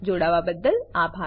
જોડાવાબદ્દલ આભાર